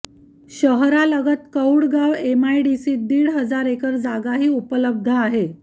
शहरालगत कौडगाव एमआयडीसीत दीड हजार एकर जागाही उपलब्ध आहे